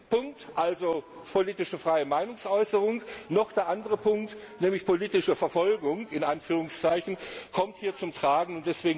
der eine Punkt, politische freie Meinungsäußerung, noch der andere Punkt, nämlich politische Verfolgung, hier zum Tragen